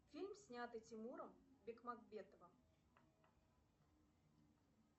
фильм снятый тимуром бекмамбетовым